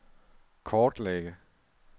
kortlægge